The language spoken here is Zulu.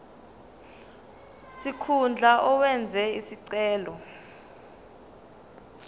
sikhundla owenze isicelo